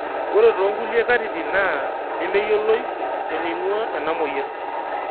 ore to nkulie katitin naa nemeyioloi eneingua ena moyian